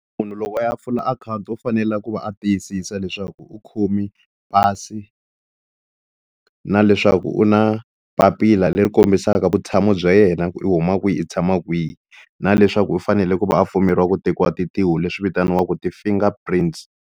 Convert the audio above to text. Munhu loko a ya pfula akhawunti u fanele ku va a tiyisisa leswaku u khome pasi na leswaku u na papila leri kombisaka vutshamo bya yena ku u huma kwihi u tshama kwihi na leswaku u fanele ku va a pfumeriwa ku tekiwa tintiho leswi vitaniwaka ti-finger prints.